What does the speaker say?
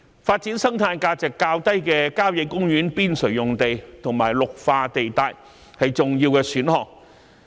發展生態價值較低的郊野公園邊陲用地和綠化地帶，是重要的選項。